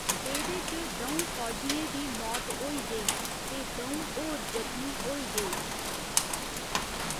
एह्दे च द'ऊं फौजियें दी मौत होई गेई ते दऊं होर जख्मी होई गे।